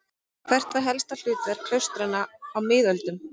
Hvert var helsta hlutverk klaustra á miðöldum?